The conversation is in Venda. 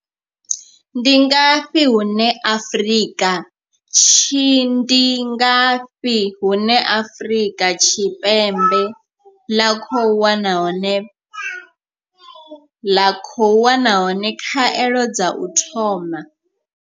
Ndi ngafhi hune Afrika Tshi Ndi ngafhi hune Afrika Tshipembe ḽa khou wana hone ḽa khou wana hone khaelo dza u thoma.